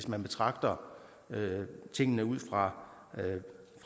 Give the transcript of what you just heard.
man betragter tingene ud fra